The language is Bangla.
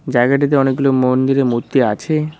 জায়গাটিতে অনেকগুলো মন্দিরের মূর্তি আছে।